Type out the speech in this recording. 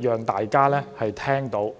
讓大家知道。